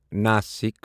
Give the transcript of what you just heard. Nashik